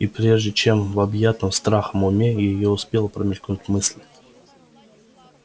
и прежде чем в объятом страхом уме её успела промелькнуть мысль